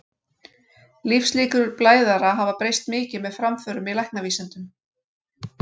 Lífslíkur blæðara hafa breyst mikið með framförum í læknavísindum.